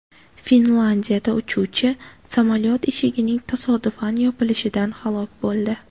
Finlyandiyada uchuvchi samolyot eshigining tasodifan yopilishidan halok bo‘ldi.